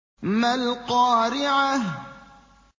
مَا الْقَارِعَةُ